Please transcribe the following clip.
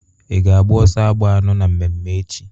I ga-agba ọsọ agba anọ na mmemme echi?